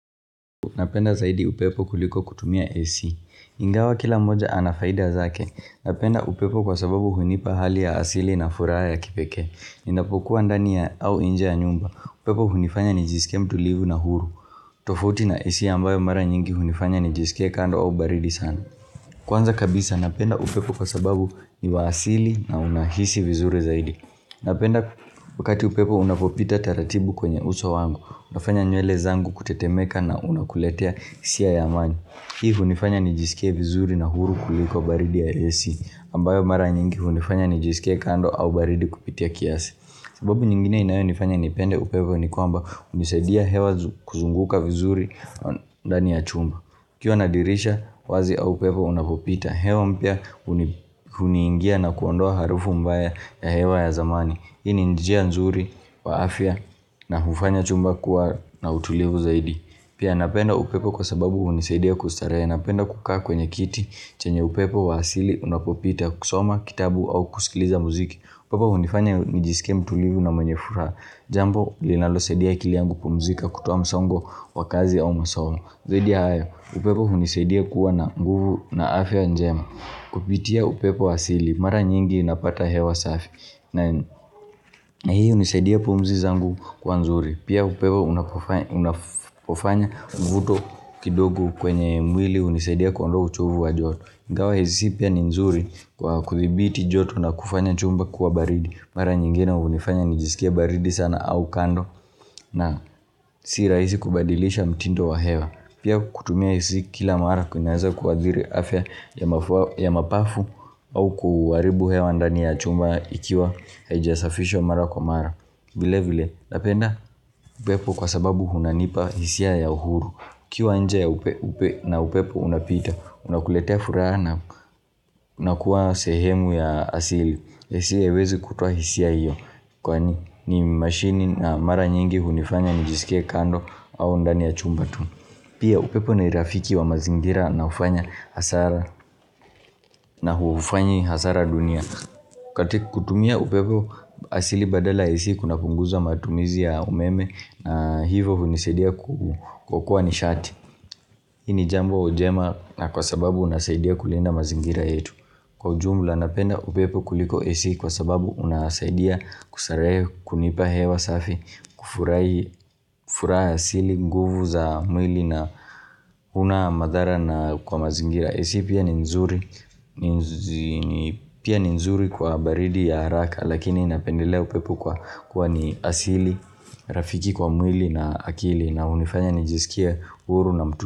Napenda zaidi upepo kuliko kutumia AC Ingawa kila moja anafaida zake Napenda upepo kwa sababu hunipa hali ya asili na furaha ya kipekee ninapokuwa ndani ya au inje ya nyumba upepo hunifanya nijisikie mtulivu na huru tofauti na AC ambayo mara nyingi hunifanya nijisike kando au baridi sana Kwanza kabisa napenda upepo kwa sababu ni wa asili na unahisi vizuri zaidi Napenda wakati upepo unapopita taratibu kwenye uso wangu Unafanya nyele zangu kutetemeka na unakuletea hisia ya amani hivi hunifanya nijisikie vizuri na huru kuliko baridi ya AC ambayo mara nyingi hunifanya nijisikie kando au baridi kupitia kiasi sababu nyingine inayo nifanya nipende upepo nikwamba hunisaidia hewa kuzunguka vizuri ndani ya chumba ukiwa na dirisha wazi au upepo unapopita hewa mpya uniingia na kuondoa harufu mbaya ya hewa ya zamani Hii ni njia nzuri wa afya na hufanya chumba kuwa na utulivu zaidi Pia napenda upepo kwa sababu hunisaidia kustarehe Napenda kukaa kwenye kiti chenye upepo wa asili unapopita kusoma kitabu au kusikiliza muziki upepo hunifanya njisikie mtulivu na mwenye furaha Jambo linalo saidia akili yangu kupumuzika kutoa msongo wa kazi au masomo Zaidi ya hayo upepo hunisaidia kuwa na nguvu na afya njema Kupitia upepo wa asili mara nyingi napata hewa safi na hii hunisaidia pumzi zangu kuwa nzuri Pia upepo unapofanya mvuto kidogo kwenye mwili hunisaidia kuondoa uchovu wa joto ingawa AC pia ni nzuri kwa kuthibiti joto na kufanya chumba kuwa baridi Mara nyingine hunifanya nijisikie baridi sana au kando na si rahisi kubadilisha mtindo wa hewa Pia kutumia AC kila mara kunaweza kuathiri afya ya mapafu au kuharibu hewa ndani ya chumba ikiwa haijasafishwa mara kwa mara vile vile napenda upepo kwa sababu unanipa hisia ya uhuru ukiwa nje ya upepo na upepo unapita unakuletea furaha na kuwa sehemu ya asili AC haiwezi kutoa hisia hiyo kwani ni mashini na mara nyingi hunifanya nijisikie kando au ndani ya chumba tu pia upepo nirafiki wa mazingira na hufanya hasara nahufanyi hasara dunia kati kutumia upepo asili badala ya AC kuna punguza matumizi ya umeme na hivyo hunisaidia kuokoa nishati hii ni jambo njema na kwa sababu unasaidia kulinda mazingira yetu Kwa ujumla napenda upepo kuliko AC kwa sababu unasaidia kustarehe kunipa hewa safi kufurahi furaha asili nguvu za mwili na huna madhara na kwa mazingira AC pia ni nzuri Pia ni nzuri kwa baridi ya haraka Lakini napendelea upepo kwa kuwa ni asili Rafiki kwa mwili na akili na hunifanya nijisikie huru na mtu.